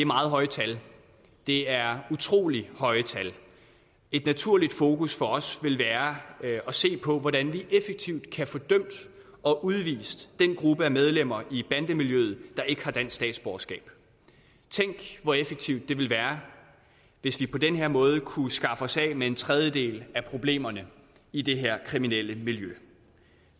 meget højt tal det er utrolig højt tal et naturligt fokus for os vil være at se på hvordan vi effektivt kan få dømt og udvist den gruppe af medlemmer i bandemiljøet der ikke har dansk statsborgerskab tænk hvor effektivt det ville være hvis vi på den her måde kunne skaffe os af med en tredjedel af problemerne i det her kriminelle miljø